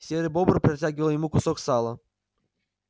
серый бобр протягивал ему кусок сала